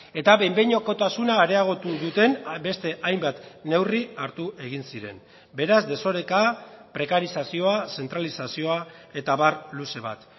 eta behin behinekotasuna areagotu duten beste hainbat neurri hartu egin ziren beraz desoreka prekarizazioa zentralizazioa eta abar luze bat